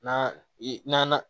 N'an i n'an